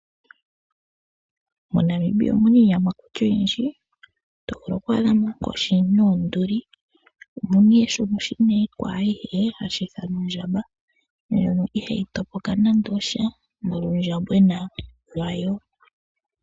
MoNamibia omu na iiyamakuti oyindji to vulu okwa dhamo oonkoshi, oonduli noondjamba ndhoka oonene dhivule iinamwenyo ayihe. Oondjamba ihadhi topoka nuundjambwena wadho nande.